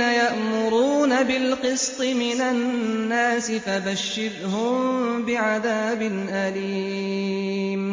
يَأْمُرُونَ بِالْقِسْطِ مِنَ النَّاسِ فَبَشِّرْهُم بِعَذَابٍ أَلِيمٍ